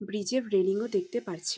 Bridge -এর railing -ও দেখতে পাচ্ছি ।